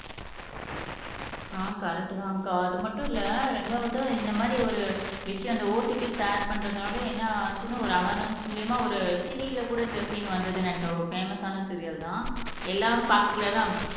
ஆ correct தான் அக்கா அது மட்டும் இல்ல ரெண்டாவது இந்த மாதிரி ஒரு விஷயம் இந்த ஓடிபி ஷேர் பண்றனால என்ன ஆச்சுனு ஒரு அவார்னெஸ் மூலியமா ஒரு சீரியல்ல கூட இந்த சீன் வந்ததுனு நினக்கிறேன் ஒரு ஃபேமஸ் ஆன சீரியல் தான் எல்லாரும் பாக்கக் கூடா